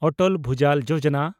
ᱚᱴᱚᱞ ᱵᱷᱩᱡᱟᱞ ᱡᱳᱡᱚᱱᱟ